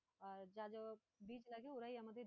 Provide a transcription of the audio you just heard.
আর যা যা বীজ লাগে ওরাই আমাদের